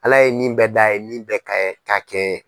Ala ye nin bɛɛ da a ye nin bɛɛ kaɲɛ k'a kɛ